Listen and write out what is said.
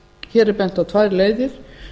hér er bent á tvær leiðir